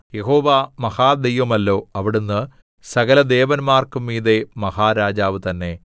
യഹോവ മഹാദൈവമല്ലോ അവിടുന്ന് സകലദേവന്മാർക്കും മീതെ മഹാരാജാവു തന്നെ